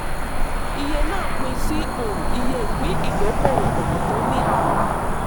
iye náà pín sí um iye ìpín ìdókòwò um tó ní ààlà.